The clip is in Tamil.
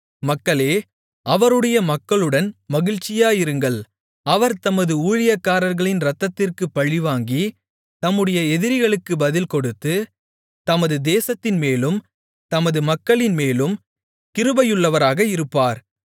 மக்களே அவருடைய மக்களுடன் மகிழ்ச்சியாயிருங்கள் அவர் தமது ஊழியக்காரர்களின் இரத்தத்திற்குப் பழிவாங்கி தம்முடைய எதிரிகளுக்குப் பதில்கொடுத்து தமது தேசத்தின்மேலும் தமது மக்களின்மேலும் கிருபையுள்ளவராக இருப்பார்